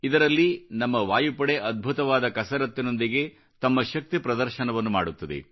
ಇದರಲ್ಲಿ ನಮ್ಮ ವಾಯುಪಡೆ ಅದ್ಭುತವಾದ ಕಸರತ್ತಿನೊಂದಿಗೆ ತಮ್ಮ ಶಕ್ತಿ ಪ್ರದರ್ಶನವನ್ನು ಮಾಡುತ್ತದೆ